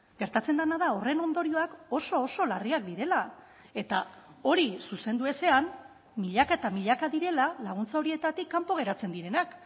gertatzen dena da horren ondorioak oso oso larriak direla eta hori zuzendu ezean milaka eta milaka direla laguntza horietatik kanpo geratzen direnak